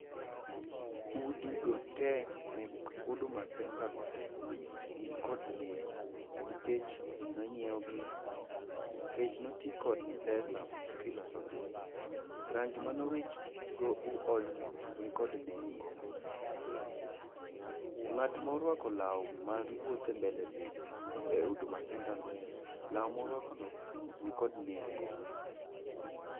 Udigo te mek huduma senta go te gin kod nengo nikech nonyiewgi, nikech noti kod pesa kilosogi. Rangi mane owich go odno nikod nengo. Ng'at morwako law ma wuotho e mbele huduma sentano, law morwakono nikod nengo.